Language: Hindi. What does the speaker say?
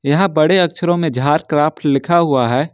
यहां बड़े अक्षरों में झारक्राफ्ट लिखा हुआ है।